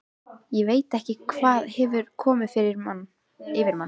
Ég veit ekki hvað hefur komið yfir manninn.